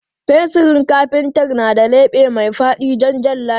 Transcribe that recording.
Fensirin kafintar na da leɓe mai faɗi don jan layi.